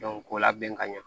k'u labɛn ka ɲɛ